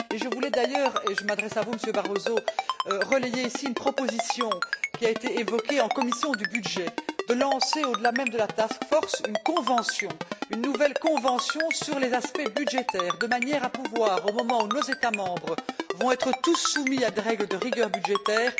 Je voulais d'ailleurs et je m'adresse à vous, Monsieur Barroso relayer ici une proposition qui a été évoquée en commission des budgets celle de lancer, au delà même de la task force une convention, une nouvelle convention sur les aspects budgétaires, de manière à pouvoir travailler, au moment où nos États membres seront tous soumis à des règles de rigueur budgétaire,